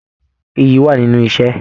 Ìyí wà nínú iṣẹ.